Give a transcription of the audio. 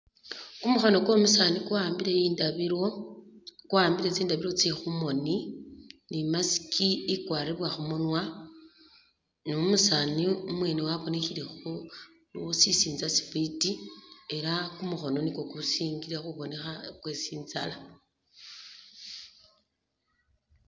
Ku mukhono kwo musaani kwa'ambile indabilo, kwa'ambile tsindabilo tse khu moni ni mask i kwaribwa khu munwa ni umusaani umwene wabonekhele shisinza shifiti era ku mukhono ni kwo ku singile khubonekha kwe tsinzala.